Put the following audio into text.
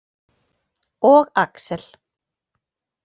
Og Axel.